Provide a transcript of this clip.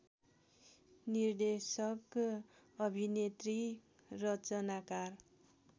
निर्देशक अभिनेत्री रचनाकार